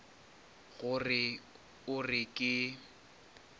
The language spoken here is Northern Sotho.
go re o re ke